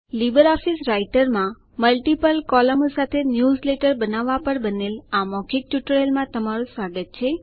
Libre Office Writer multiple બહુવિધ કૉલમો સાથે ન્યૂઝલેટરો બનાવવા પર બનેલ મૌખિક ટ્યુટોરિયલમાં તમારું સ્વાગત છે